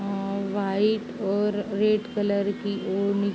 आं व्हाइट और red colour की ऊनी --